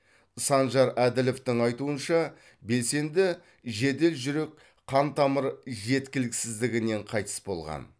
санжар әділовтың айтуынша белсенді жедел жүрек қантамыр жеткіліксіздігінен қайтыс болған